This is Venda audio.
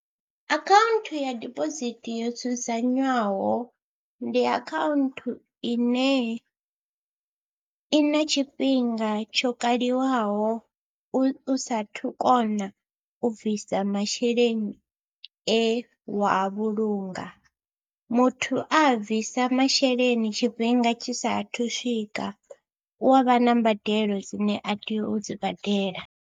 Akhaunthu ya dibosithi yo dzudzanywaho ndi akhaunthu ine i na tshifhinga tsho kaliwaho u saathu kona u bvisa masheleni e wa a vhulunga muthu a a bvisa masheleni tshifhinga tshi saathu swika hu a vha na mbadelo dzine a tea u dzi badela.